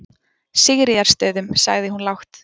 Sigríðarstöðum, sagði hún lágt.